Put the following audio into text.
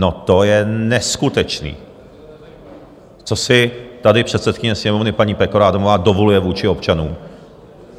No, to je neskutečné, co si tady předsedkyně Sněmovny paní Pekarová Adamová dovoluje vůči občanům.